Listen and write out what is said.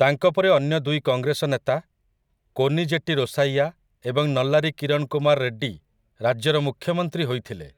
ତାଙ୍କ ପରେ ଅନ୍ୟ ଦୁଇ କଂଗ୍ରେସ ନେତା, କୋନିଜେଟି ରୋସାଇୟା ଏବଂ ନଲ୍ଲାରୀ କିରଣ୍ କୁମାର୍ ରେଡ୍ଡୀ, ରାଜ୍ୟର ମୁଖ୍ୟମନ୍ତ୍ରୀ ହୋଇଥିଲେ,